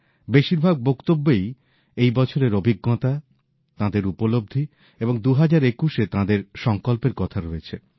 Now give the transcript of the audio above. বেশীরভাগ বক্তব্যেই এই বছরের অভিজ্ঞতা তাঁদের উপলব্ধি এবং ২০২১ এ তাঁদের সঙ্কল্পের কথা রয়েছে